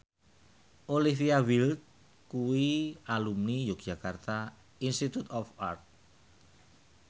Olivia Wilde kuwi alumni Yogyakarta Institute of Art